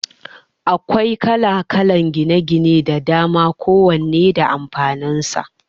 Akwai kala-kalan gidaje da dama ko wanne da amfanin sa